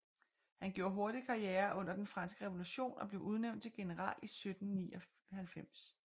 Han gjorde hurtigt karriere under Den Franske Revolution og blev udnævnt til general i 1794